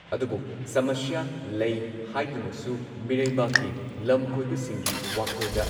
ꯑꯗꯨꯕꯨ ꯁꯃꯁ꯭ꯌꯥ ꯂꯩ ꯍꯥꯏꯗꯨꯅꯁꯨ ꯃꯤꯔꯩꯕꯥꯛꯀꯤ ꯂꯝ ꯀꯣꯏꯕꯁꯤꯡꯒꯤ ꯋꯥꯈꯜꯗ